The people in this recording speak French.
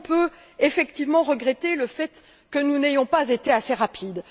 On peut effectivement regretter le fait que nous n'ayons pas été assez rapides.